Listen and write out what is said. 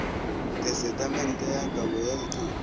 tesetamente ya kabo ya dithoto